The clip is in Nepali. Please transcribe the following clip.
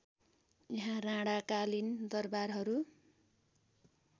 यहाँ राणाकालीन दरबारहरू